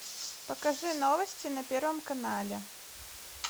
покажи новости на первом канале